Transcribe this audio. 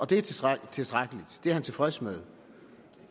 det er tilstrækkeligt det er han tilfreds med